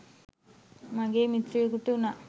මගේ මිත්‍රයකුට උනා.